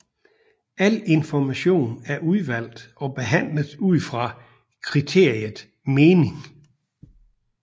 Al information er udvalgt og behandlet ud fra kriteriet mening